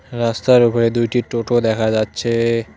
রাস্তার ওপরে দুইটি টোটো দেখা যাচ্ছে।